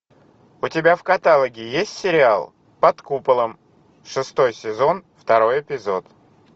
у тебя в каталоге есть сериал под куполом шестой сезон второй эпизод